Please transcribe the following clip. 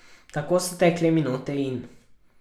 Tako so tekle minute in ...